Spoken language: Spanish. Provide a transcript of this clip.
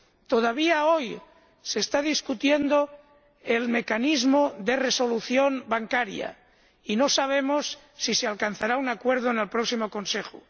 Todavía hoy se está discutiendo el mecanismo de resolución bancaria y no sabemos si se alcanzará un acuerdo en el próximo Consejo.